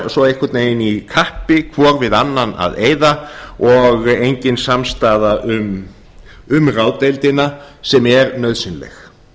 væru svo einhvern veginn í kappi hvor við annan að eyða og engin samstaða um ráðdeildina sem er nauðsynleg